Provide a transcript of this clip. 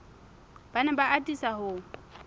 ba ne ba atisa ho